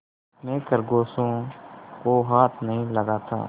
मैं खरगोशों को हाथ नहीं लगाता